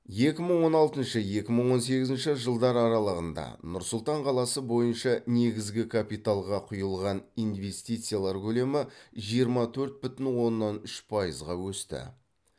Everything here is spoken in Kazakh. екі мың он алтыншы екі мың он сегізінші жылдар аралығында нұр сұлтан қаласы бойынша негізгі капиталға құйылған инвестициялар көлемі жиырма төрт бүтін оннан үш пайызға өсті